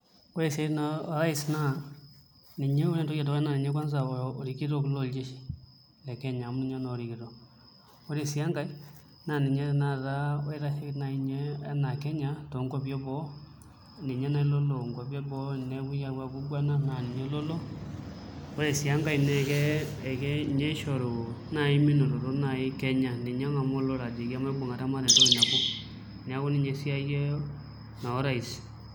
Ore siatin o rais naa ninye ore entoki edukuya naa ninye kwanza olkitok loljeshi lekenya amu ninye naa orikito ore sii enkae naa ninye nai tenakata oitasheiki nai inye enaa Kenya toonkuapi eboo ninye nai lolo inkuapi eboo tenepuie aiguana naa ninye lolo ore sii enkae naa ninye oshoru nai minototo nai Kenya ninye ongaamaa olorere ajoki maipungata mataa entoki nabo neeku ninye naa esiae orais .